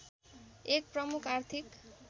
एक प्रमुख आर्थिक